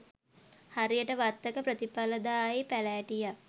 හරියට වත්තක ප්‍රතිඵලදායි පැළැටියක්